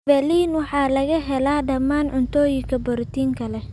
Valine waxaa laga helaa dhammaan cuntooyinka borotiinka leh.